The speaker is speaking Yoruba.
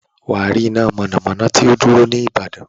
Wà á rí iná mọ̀nàmọ́ná tó dúró ní ìbàdàn.